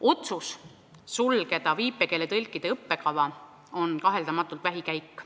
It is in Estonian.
Otsus sulgeda viipekeeletõlkide õppekava on kaheldamatult vähikäik.